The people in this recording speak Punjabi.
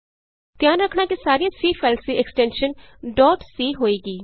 ਧਿਆਨ ਰਖਣਾ ਕਿ ਸਾਰੀਆਂ C ਫਾਈਲਜ਼ ਦੀ ਐਕਸਟੈਨਸ਼ਜ਼ ਡੋਟ c ਹੋਏਗੀ